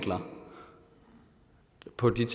på det